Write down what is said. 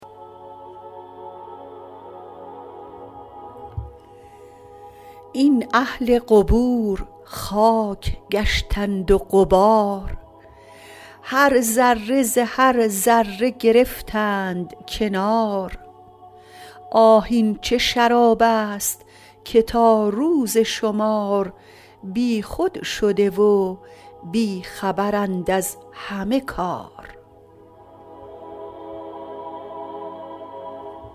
این اهل قبور خاک گشتند و غبار هر ذره ز هر ذره گرفتند کنار آه این چه شراب است که تا روز شمار بیخود شده و بی خبرند از همه کار